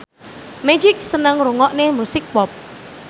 Magic seneng ngrungokne musik pop